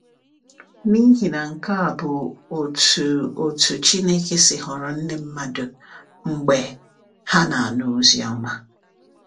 N’ihi na nke a bụ otú otú Chineke si họrọ ndị mmadụ, mgbe ha na-anụ Oziọma.